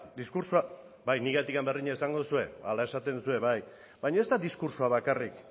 diskurtsoa bai niregatik ere berdina esango duzue hala esaten duzue baina ez da diskurtsoa bakarrik